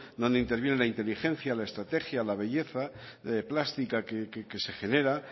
donde interviene la inteligencia la estrategia la belleza plástica que se genera